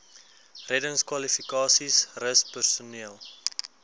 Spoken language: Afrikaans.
reddingskwalifikasies rus personeel